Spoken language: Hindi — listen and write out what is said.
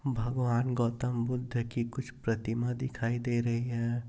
भगवान गौतम बुद्ध कि कुछ प्रतिमा दिखाई दे रही है।